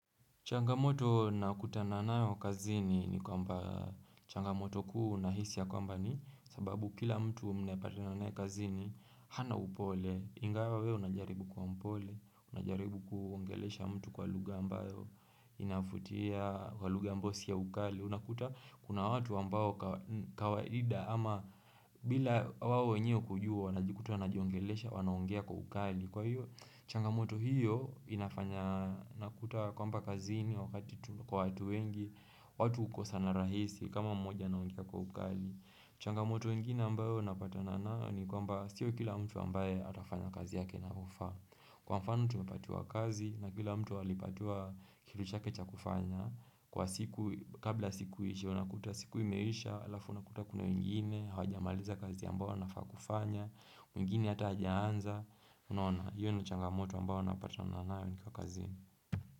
Changamoto nakuta na nayo kazini ni kwamba changamoto kuu nahisi ya kwamba ni sababu kila mtu mnayepatana naye kazini hana upole. Ingawa wewe unajaribu kuwa mpole, unajaribu kuongelesha mtu kwa lugha ambayo. Inavutia kwa lugha ambayo si ya ukali. Unakuta kuna watu ambao kawaida ama bila wao wenyewe kujua wanajikuta wanajiongelesha, wanaongea kwa ukali. Kwa hiyo, changamoto hiyo inafanya nakuta kwamba kazini wakati tuko wengi watu hukosana rahisi kama mmoja anaongea kwa ukali changamoto ingine ambayo napata na nao ni kwamba sio kila mtu ambaye atafanya kazi yake na inavyofaa Kwa mfano tumepatiwa kazi na kila mtu alipatiwa kituchakecha kufanya Kwa siku, kabla siku ishe, unakuta siku imeisha, alafu unakuta kuna wengine Hawajamaliza kazi ambayo wanafaa kufanya wengine hatajaanza Unaona, hiyo na changamoto ambayo unapatana nayo nikiwa kazini.